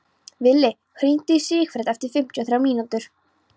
Villi, hringdu í Sigfred eftir fimmtíu og þrjár mínútur.